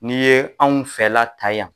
N'i ye anw fɛla ta yan